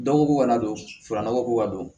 Dɔgɔko ka na don fara nɔgɔ ko ka don